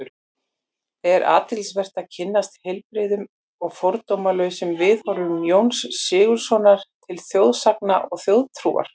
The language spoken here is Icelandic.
Er athyglisvert að kynnast heilbrigðum og fordómalausum viðhorfum Jóns Sigurðssonar til þjóðsagna og þjóðtrúar.